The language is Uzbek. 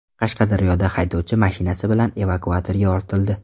Qashqadaryoda haydovchi mashinasi bilan evakuatorga ortildi.